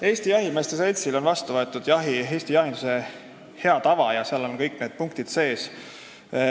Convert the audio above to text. Eesti Jahimeeste Seltsil on vastu võetud "Eesti jahinduse hea tava" ja seal on kõik need punktid sees.